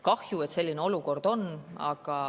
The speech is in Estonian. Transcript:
Kahju, et selline olukord on.